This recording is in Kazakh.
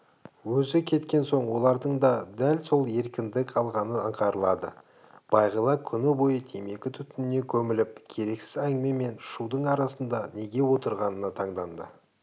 өзі кеткен соң олардың да сәл еркіндік алғаны аңғарылады бағила күні бойы темекі түтініне көміліп керексіз әңгіме мен шудың арасында неге отырғанына таңданды